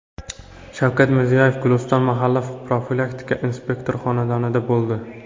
Shavkat Mirziyoyev Gulistonda mahalla profilaktika inspektori xonadonida bo‘ldi.